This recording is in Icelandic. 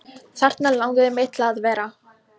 Þarna langaði mig til að vera.